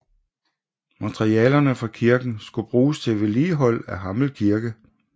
Materialerne fra kirken skulle bruges til vedligehold af Hammel Kirke